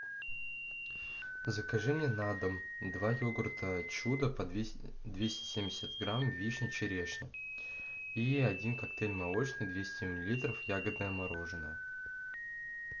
закажи мне на дом два йогурта чудо по двести семьдесят грамм вишня черешня и один коктейль молочный двести миллилитров ягодное мороженное